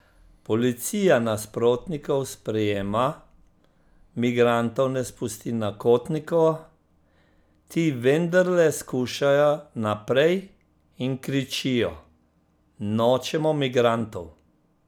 Policija nasprotnikov sprejema migrantov ne spusti na Kotnikovo, ti vendarle skušajo naprej in kričijo: "Nočemo migrantov!